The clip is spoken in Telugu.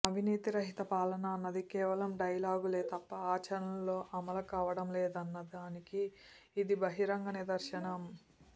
అవినీతి రహిత పాలన అన్నది కేవలం డైలాగులే తప్ప ఆచరణలో అమలు కావడం లేదన్నదా నికి ఇది బహిరంగ నిదర్శనం